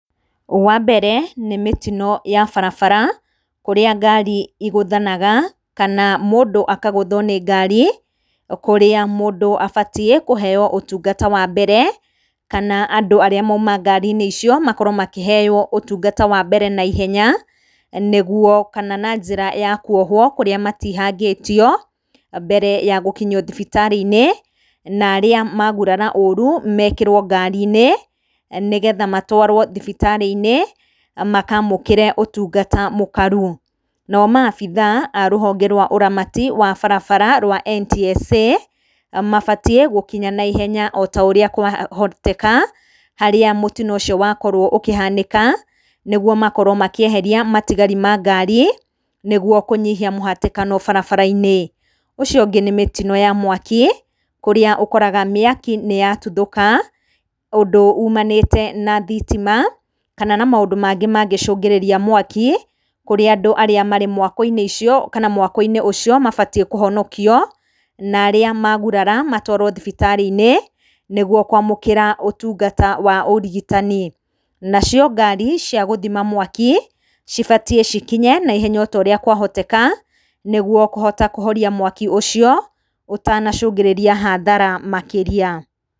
Wa mbere, nĩ mũtino ya barabara, kũrĩa ngari igũthanaga, kana mũndũ akagũthwo nĩ ngari, kũrĩa mũndũ abatiĩ kũheyo ũtungata wa mbere, kana andũ arĩa maima ngari-inĩ icio makorwo makĩheyo ũtungata wambere naihenya, nĩguo kana na njĩra ya kwohwo kũrĩa matihangĩtio, mbere ya gũkinyio thibiktarĩ-inĩ, narĩa magurara ũru, mekĩrwo ngari-inĩ, nĩ getha matwarwo thibitarĩ -inĩ, makamũkĩre ũtungata mũkaru, nao maabitha a ruhonge rwa ũramati rwa barabara wa NTSA, mabatiĩ gũkinya naihenya o taũrĩa kwahoteka, harĩa mũtino ũcio wakorwo ũkĩhanĩka, nĩguo makorwo makĩeheria matigari mangari, nĩguo kũnyihia mũhatĩkano barabara-inĩ, ũcio -ũngĩ nĩ mĩtino ya mwaki, kũrĩa ũkoraga mĩaki nĩ yatuthoka, ũndũ ũmanĩte na thitima, kana na maũndũ mangĩ mangĩcũngĩrĩria mwaki, kũrĩa andũ arĩa marĩ mwako-inĩ icio, kana mwako-inĩ ũcio mabatiĩ kũhonokio, narĩa magurara matwarwo thibitarĩ-inĩ, nĩguo kwamũkĩra ũtungata wa ũrigitani, nacio ngari cia gũthima mwaki, cibatiĩ cikinye naihenya otorĩa kwahoteka, nĩguo kũhota kũhoria mwaki ũcio, ũtanacũngĩrĩria hathara makĩria.